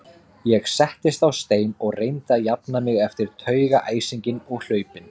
Ég settist á stein og reyndi að jafna mig eftir taugaæsinginn og hlaupin.